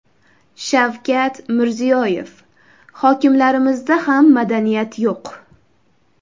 Shavkat Mirziyoyev: Hokimlarimizda ham madaniyat yo‘q.